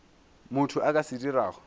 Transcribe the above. motho a ka se dirago